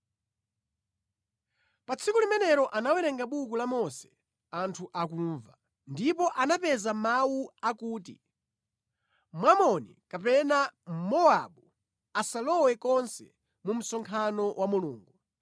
Pa tsiku limenelo anawerenga buku la Mose anthu akumva. Ndipo anapeza mawu akuti, Mwamoni kapena Mmowabu asalowe konse mu msonkhano wa Mulungu.